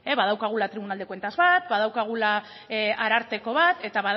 badaukagula tribunal de cuentas bat badaukagula ararteko bat eta